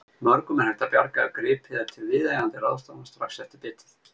Mörgum er hægt að bjarga ef gripið er til viðeigandi ráðstafana strax eftir bitið.